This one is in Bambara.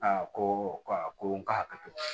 A ko ko awɔ ko n k'a hakɛ to